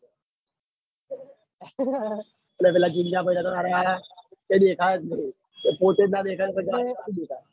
અને પેલા જીલ્યા ભાઈ કઈ દેખાય જ નાઈ. એ પોતે જ ના દેખાય ને